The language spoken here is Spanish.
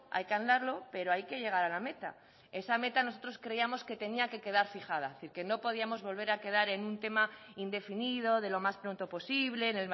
hay que andarlo pero hay que llegar a la meta esa meta nosotros creíamos que tenía que quedar fijada que no podíamos volver a quedar en un tema indefinido de lo más pronto posible en